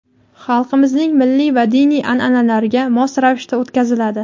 xalqimizning milliy va diniy an’analariga mos ravishda o‘tkaziladi.